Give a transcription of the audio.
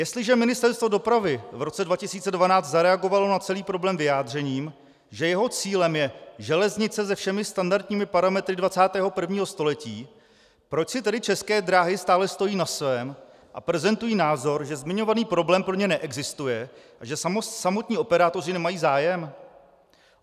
Jestliže Ministerstvo dopravy v roce 2012 zareagovalo na celý problém vyjádřením, že jeho cílem je železnice se všemi standardními parametry 21. století, proč si tedy České dráhy stále stojí na svém a prezentují názor, že zmiňovaný problém pro ně neexistuje a že samotní operátoři nemají zájem?